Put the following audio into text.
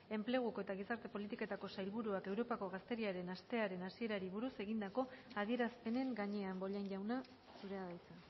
enpleguko eta gizarte politiketako sailburuak europako gazteriaren astearen hasierari buruz egindako adierazpenen gainean bollain jauna zurea da hitza